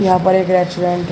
यहां पर एक रेस्टोरेंट --